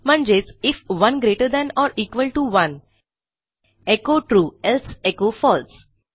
म्हणजेच if 1 greater than or equal to 1 echo true else echo false